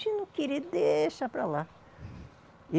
Se não querer, deixa para lá.